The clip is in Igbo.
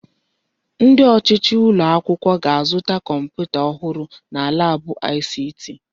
Ndi ọchịchị ụlọ akwụkwọ ga-azụta kọmputa ọhụrụ na laabụ ICT.